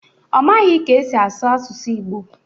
Ọ maghị ka esi asụ asụsụ Ịgbo